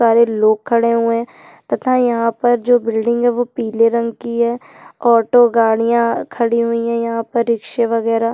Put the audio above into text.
सारे लोग खड़े हुए है तथा यहाँ पर जो बिल्डिंग है वो पिले रंग कि है ऑटो गाड़िया खड़ी हुई है यहाँ पर रिकसे वगैरह--